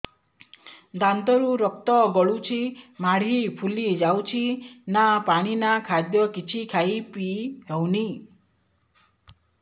ଦାନ୍ତ ରୁ ରକ୍ତ ଗଳୁଛି ମାଢି ଫୁଲି ଯାଉଛି ନା ପାଣି ନା ଖାଦ୍ୟ କିଛି ଖାଇ ପିଇ ହେଉନି